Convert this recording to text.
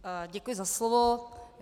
Děkuji za slovo.